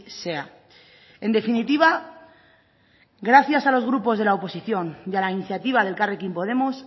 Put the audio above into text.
sea en definitiva gracias a los grupos de la oposición y a la iniciativa de elkarrekin podemos